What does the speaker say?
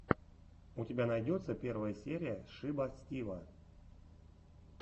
у тебя найдется первая серия шиба стива